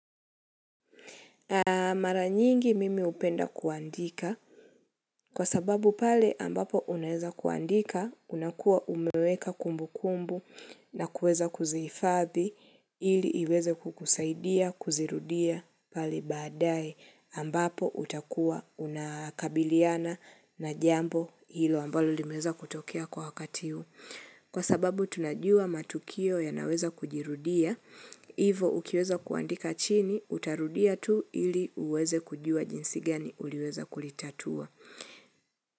Mara nyingi mimi hupenda kuandika kwa sababu pale ambapo unaweza kuandika unakuwa umeweka kumbukumbu na kuweza kuzihifadhi ili iweze kukusaidia kuzirudia pale baadaye ambapo utakuwa unakabiliana na jambo hilo ambalo limeweza kutokea kwa wakati huu. Kwa sababu tunajua matukio yanaweza kujirudia, hivyo ukiweza kuandika chini, utarudia tu ili uweze kujua jinsi gani uliweza kulitatua.